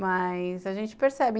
Mas a gente percebe.